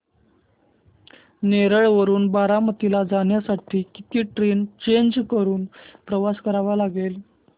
नेरळ वरून बारामती ला जाण्यासाठी किती ट्रेन्स चेंज करून प्रवास करावा लागेल